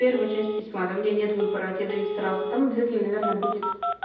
первая часть письма на меня нет выбора тебе дают сразу там обязательно наверное будет